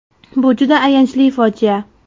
Bu juda ayanchli fojia.